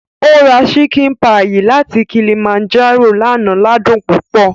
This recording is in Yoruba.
Ó ra ṣíkìn páyì láti Kilimanjaro lánàá ládùn púpọ̀